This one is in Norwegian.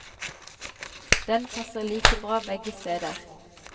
Den passer like bra begge steder.